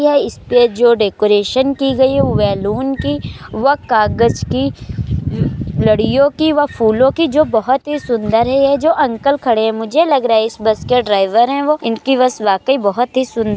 यह इसपे जो डेकोरेशन की गई है वैलून की व कागज की उम्म लड़ियों की व फूलों की जो बोहोत ही सुंदर है। ये जो अंकल खड़े है मुझे लग रहा है इस बस के ड्राइवर है वो। इनकी बस वाकई बोहोत ही सुं --